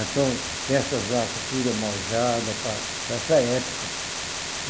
Então, tem essas vacas tudo almojada para para essa época.